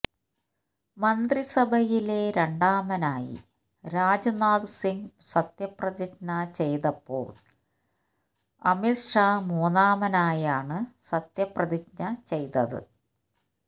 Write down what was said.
മന്ത്രിസഭയിലെ രണ്ടാമനായി രാജ്നാഥ് സിങ് സത്യപ്രതിജ്ഞ ചെയ്തപ്പോൾ അമിത് ഷാ മൂന്നാമനായാണ് സത്യപ്രതിജ്ഞ ചെയ്തത്